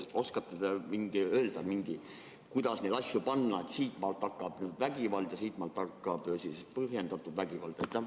Oskate öelda, kuidas neid asju kindlaks määrata, et siitmaalt hakkab vägivald ja siitmaalt hakkab põhjendatud vägivald?